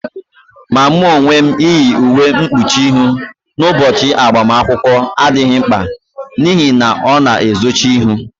Ma mụ onwe m, iyi uwe mkpuchi ihụ n'ụbọchị agbamakwụkwọ adịghị mkpa n'ihi na ọ na-ezochi ihu